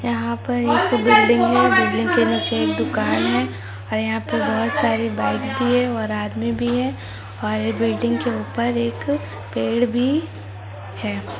यहा पर एक बिल्डिंग हे बिल्डिंग के नीचे एक दुकान हे और यहा पर बहुत सारी बाइक भी हे और आदमी भी हे और बिल्डिंग के ऊपर एक पेड भी हे।